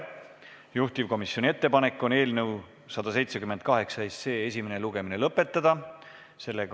Juhtivkomisjoni ettepanek on eelnõu 178 esimene lugemine lõpetada.